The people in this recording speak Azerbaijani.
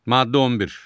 Maddə 11.